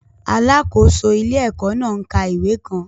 Alákòóso ilé-ẹ̀kọ́ náà ń ka ìwé kan